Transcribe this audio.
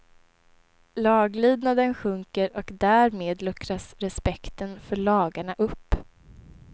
Laglydnaden sjunker och därmed luckras respekten för lagarna upp.